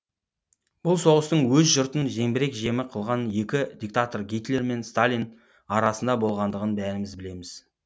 бұл соғыстың өз жұртын зеңбірек жемі қылған екі диктатор гитлер мен сталин арасында болғандығын бәріміз білеміз